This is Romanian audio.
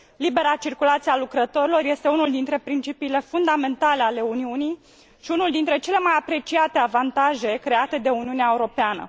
Libera circulație a lucrătorilor este unul dintre principiile fundamentale ale Uniunii și unul dintre cele mai apreciate avantaje create de Uniunea Europeană.